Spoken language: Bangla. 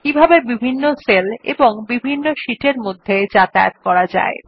কিভাবে বিভিন্ন সেল এবং বিভিন্ন শীট এর মধ্যে যাতায়াত করা যায়